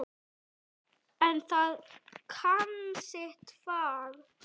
En það kann sitt fag.